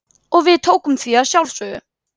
Og við tókum því að sjálfsögðu.